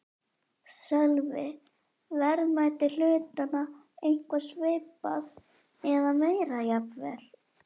Sölvi: Verðmæti hlutanna eitthvað svipað eða meira jafnvel?